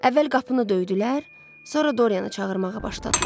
Əvvəl qapını döydülər, sonra Dorianı çağırmağa başladılar.